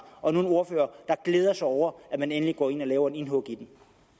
og nu en ordfører der glæder sig over at man endelig går ind og laver et indhug